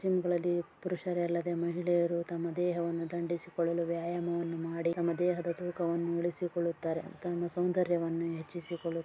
ಜಿಮ್ಗ ಳಲ್ಲಿ ಪುರುಷರಲ್ಲದೆ ಮಹಿಳೆಯರು ತಮ್ಮ ದೇಹವನ್ನು ದಂಡಿಸಿಕೊಳ್ಳಲು ವ್ಯಾಯಾಮವನ್ನು ಮಾಡಿ ತಮ್ಮ ದೇಹದ ತೂಕವನ್ನು ಇಳಿಸಿಕೊಳ್ಳುತ್ತಾರೆ. ತಮ್ಮ ಸೌಂದರ್ಯವನ್ನು ಹೆಚ್ಚಿಸಿಕೊಳ್ಳುತ್ತಾರೆ.